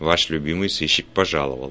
ваш любимый сыщик пожаловал